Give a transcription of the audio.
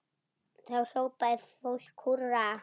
Þá hrópar fólk húrra.